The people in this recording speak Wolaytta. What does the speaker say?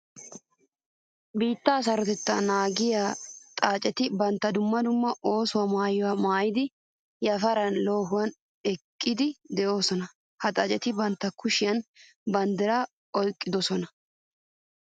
Biitta sarotetta naagissiya xaacetti bantta dumma dumma oosuwa maayuwa maayiddi yafaran loohuwa ekkiddi de'ossonna. Ha xaacetti bantta kushiyan banddira oyqqidosonna.